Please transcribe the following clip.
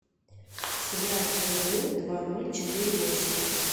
сыграть в игру два ноль четыре восемь